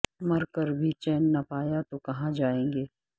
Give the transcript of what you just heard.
مر کر بھی چین نہ پایا تو کہاں جائیں گے